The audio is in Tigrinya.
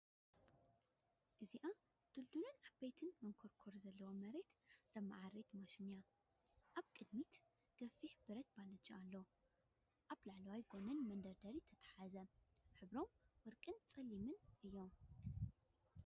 እዚኣ ድልዱልን ዓበይትን መንኰርኰር ዘለዋ መሬት ዘመዓራረየት ማሽን እያ። ኣብ ቅድሚት ገፊሕ ብረት ባልጃ ኣሎ፣ ኣብ ላዕለዋይን ጎድንን መደርደሪታት ዝተተሓሓዘ። ሕብሮም ወርቅን ጸሊምን እዮም።